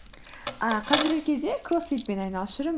ы қазіргі кезде кроссфитпен айналысып жүрмін